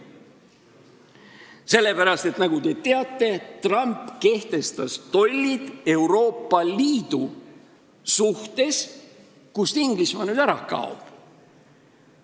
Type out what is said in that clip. Sellepärast, et nagu te teate, Trump kehtestas tollid Euroopa Liidu suhtes, kust Inglismaa nüüd lahkub.